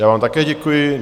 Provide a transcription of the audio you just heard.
Já vám také děkuji.